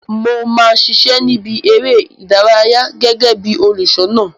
Mo ma ṣiṣẹ ni ìbí eré ìdárayá gẹgẹ bí olùṣọna.